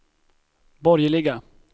borgerliga